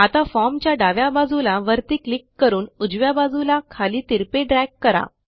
आता Formच्या डाव्या बाजूला वरती क्लिक करून उजव्या बाजूला खाली तिरपे ड्रॅग करा